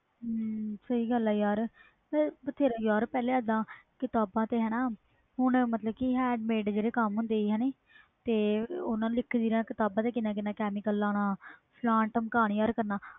ਸਹੀ ਗੱਲ ਵ ਯਾਰ ਪਹਿਲੇ ਇਹਦਾ ਕਿਤਾਬਾਂ ਤੇ ਨਾ ਹੁਣ ਜਿਹੜੇ handmade ਕੰਮ ਹੁੰਦੇ ਸੀ ਨਾ ਓਹਨਾ ਕਿਤਾਬਾਂ ਤੇ ਕਿੰਨਾ ਕਿੰਨਾ chemical ਲੈਣਾ